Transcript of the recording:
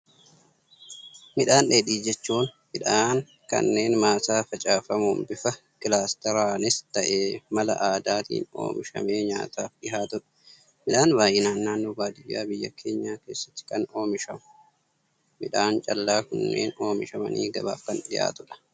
Midhaan dheedhii jechuun, midhaan kanneen maasaa facaafamuun bifa kilaasteraanis ta'ee mala aadaatiin oomishamee nyaataaf dhihaatudha. Midhaan baayyinaan naannoo baadiyyaa biyya keenyaa keessatti kan oomishamu. Midhaan callaa kunneen oomishamanii gabaaf kan dhihaatudha.